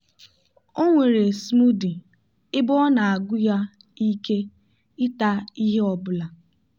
o nwere smoothie ebe ọ na-agwu ya ike ịta ihe ọ bụla.